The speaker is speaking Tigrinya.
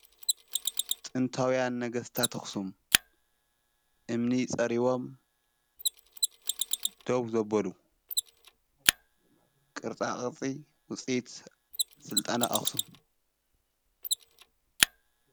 ጥንታውያን ነገሥታት ኣኽሱም እምኒ ጸሪቦም ደው ዘበሉ ቕርጻ ቕርጺ ውፂኢት ሥልጣነ ኣኹሱም።